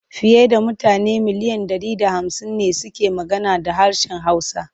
Fiye da mutane miliyan ɗari da hamsin ne suke magana ha harshen Hausa.